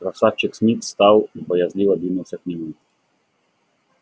красавчик смит встал и боязливо двинулся к нему